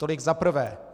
Tolik za prvé.